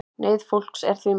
Neyð fólks er því mikil